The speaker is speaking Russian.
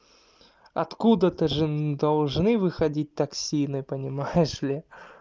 откуда то же должны выходить токсины понимаешь ли